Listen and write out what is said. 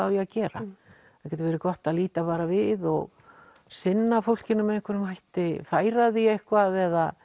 á að gera það getur verið gott að líta bara við og sinna fólkinu með einhverjum hætti færa því eitthvað eða